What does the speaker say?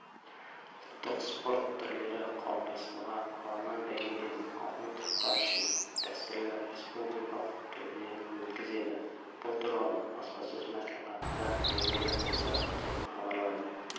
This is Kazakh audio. ұлттық спорт түрлері қауымдастығы аламан бәйгеден алтын тұлпар үшінші дәстүрлі республикалық турнирін өткізеді бұл туралы баспасөз мәслихатында белгілі болды деп хабарлайды